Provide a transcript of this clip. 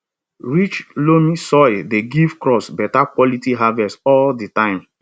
rich loamy soil dey give crops better quality harvest all di time